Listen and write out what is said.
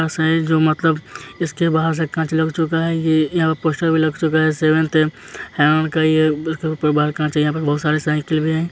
ऐसा है जो मतलब इसके बाहर से कांच लग चुका है। ये यह पोस्टर भी लग चुका है| सेवंथ हेवन का ये बाहर कांच है बहुत सारे साइकिल भी हैं।